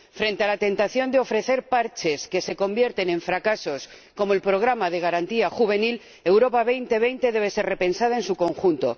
Frente a la tentación de ofrecer parches que se convierten en fracasos, como el Programa de Garantía Juvenil, Europa 2020 debe ser repensada en su conjunto.